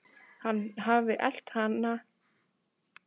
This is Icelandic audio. Hann hafi elt alla sem hann sá.